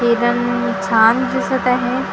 छान दिसत आहे त्यांच्या --